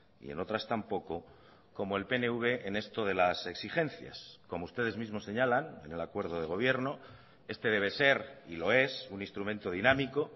y en otras tampoco como el pnv en esto de las exigencias como ustedes mismos señalan en el acuerdo de gobierno este debe ser y lo es un instrumento dinámico